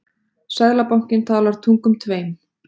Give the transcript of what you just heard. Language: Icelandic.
Seðlabankinn talar tungum tveim